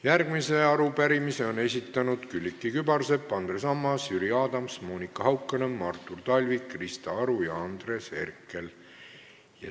Järgmise arupärimise on esitanud Külliki Kübarsepp, Andres Ammas, Jüri Adams, Monika Haukanõmm, Artur Talvik, Krista Aru ja Andres Herkel.